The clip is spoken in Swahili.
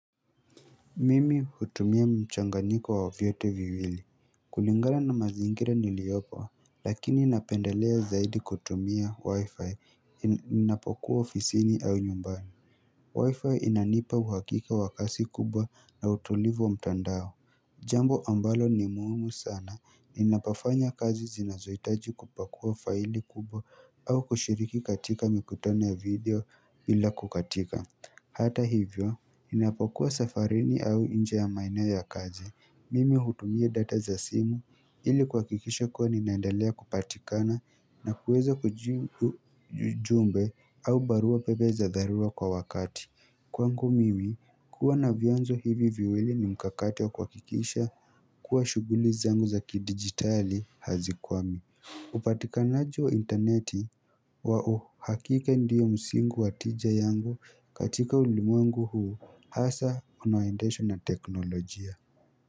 Mimi hutumia mchanganyiko wa vyote viwili. Kulingana na mazingira niliopo lakini napendelea zaidi kutumia wi-fi ninapokuwa ofisini au nyumbani wi-fi inanipa uhakika wa kasi kubwa na utulivu wa mtandao Jambo ambalo ni muhimu sana ninapofanya kazi zinazohitaji kupakua faili kubwa au kushiriki katika mikutano ya video bila kukatika. Hata hivyo Inapokuwa safarini au nje ya maenoo ya kazi Mimi hutumie data za simu ili kuhakikisha kuwa ninaendelea kupatikana na kuweza kujumbe au barua pebe za dharua kwa wakati Kwangu mimi, kuwa na vianzo hivi viwili ni mkakati wa kuhakikisha kuwa shughuli zangu za kidigitali hazikwami upatikanaji wa interneti kwa uhakika ndiyo msingi wa tija yangu katika ulimwengu huu hasa unaoendeshwa na teknolojia.